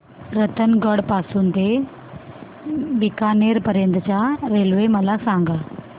रतनगड पासून ते बीकानेर पर्यंत च्या रेल्वे मला सांगा